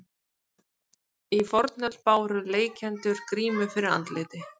Í fornöld báru leikendur grímu fyrir andliti.